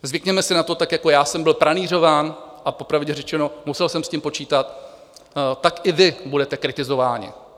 Zvykněme si na to, tak jako já jsem byl pranýřován, a popravdě řečeno, musel jsem s tím počítat, tak i vy budete kritizováni.